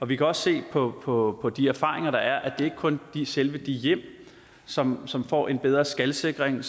vi kan også se på på de erfaringer der er at det ikke kun er selve de hjem som som får en bedre skalsikring